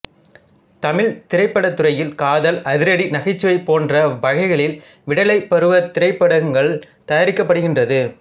தமிழ்த் திரைப்படத்துறையில் காதல் அதிரடி நகைச்சுவை போன்ற வகைகளில் விடலைப் பருவத் திரைப்பட ங்கள் தயாரிக்கப்படுகின்றது